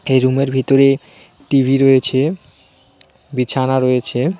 এই রুমের ভিতরে টি_ভি রয়েছে বিছানা রয়েছে .